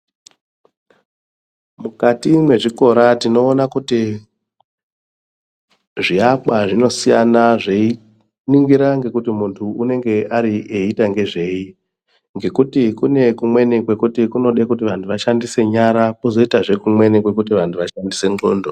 Mukati mwezvikora tinoona kuti zviakwa zvinosiyana zveiningira ngekuti munhu unenge ari aiita ngezvei ngekuti kune kumweni kwekuti kunode vanhu vashandise nyara kozoitazve kumweni kwekuti vanhu vashandise ndxondo.